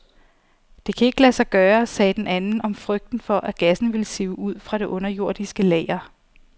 Det kan ikke lade sig gøre, sagde den anden om frygten for, at gassen vil sive ud fra det underjordiske lager.